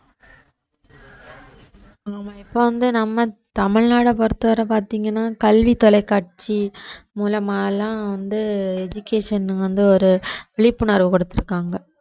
ஆமா இப்ப வந்து நம்ம தமிழ்நாட்டை பொறுத்தவரை பார்த்தீங்கன்னா கல்வி தொலைக்காட்சி மூலமாலாம் வந்து education வந்து ஒரு விழிப்புணர்வு கொடுத்திருக்காங்க